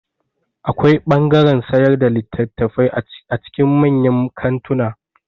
Akwai ɓangaren sayar da littafai a cikin manyan kantuna